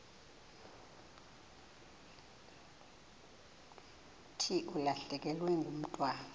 thi ulahlekelwe ngumntwana